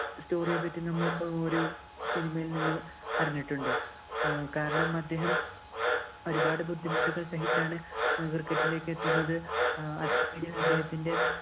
story യെ പറ്റി നമ്മള്‍ ഒരു cinema യില്‍ നിന്ന് അറിഞ്ഞിട്ടുണ്ട്. അഹ് കാരണം, അദ്ദേഹം ഒരു പാട് ബുദ്ധിമുട്ടുകള്‍ സഹിച്ചാണ് cricket ഇലേക്ക് എത്തുന്നത്.